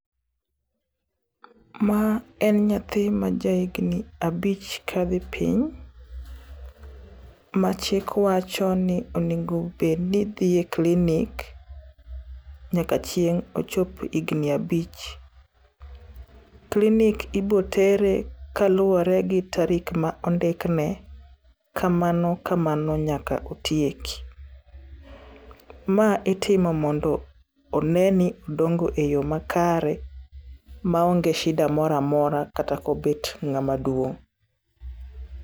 Ma en nyathi ma ja higni abich kadhi piny machik wacho ni onego bed ni dhi e clinic nyaka chieng' ochop higni abich. Clinic ibotere kaluwore gi tarik ma ondikne kamano kamano nyaka otiek. Ma itimo mondo one ni odongo e yo makare maonge shida mora mora kata kobet ng'amaduong'.